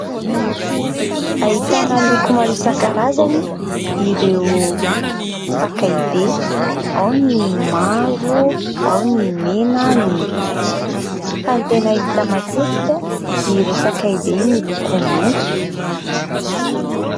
Ahitana loko maro isan-karazany ireo sakay be : ao ny mavo, ao ny mena, ny maitso fa ny tena hita matetika dia ireo sakay be miloko maitso.